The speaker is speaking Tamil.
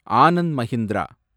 ஆனந்த் மகிந்திரா